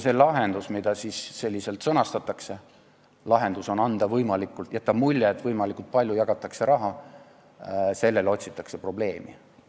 See lahendus, mida selliselt sõnastatakse, tähendab, et jäetakse mulje, et võimalikult palju jagatakse raha ja selle jaoks otsitakse probleemi.